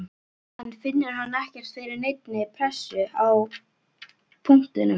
En finnur hann ekkert fyrir neinni pressu á punktinum?